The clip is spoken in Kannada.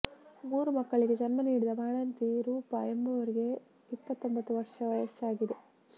ಮೂರು ಮಕ್ಕಳಿಗೆ ಜನ್ಮ ನೀಡಿದ ಬಾಣಂತಿ ರೂಪ ಎಂಬುವರಿಗೆ ಇಪ್ಪತ್ತೊಂಭತ್ತು ವರ್ಷ ವಯಸ್ಸಾಗಿದೆ